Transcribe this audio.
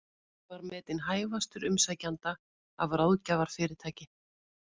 Var metinn hæfastur umsækjenda af ráðgjafarfyrirtæki